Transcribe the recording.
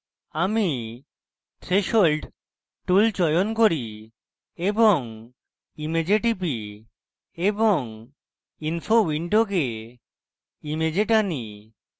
আমি threshold tool চয়ন করি এবং image টিপি এবং info window image টানি